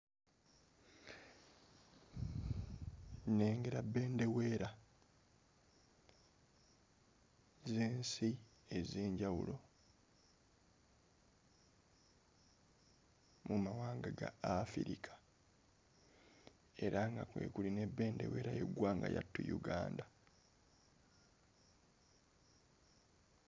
Nnengera bendeweera ez'ensi ez'enjawulo mu mawanga ga Afrika era nga kwe kuli ne bendeweera y'eggwanga lyattu Uganda.